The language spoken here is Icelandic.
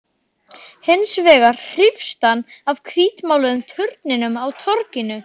Hins vegar hrífst hann af hvítmáluðum turninum á torginu.